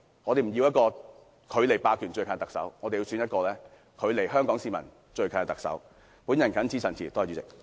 我們不要距離霸權最近的特首，我們要選出一個距離香港市民最近的特首。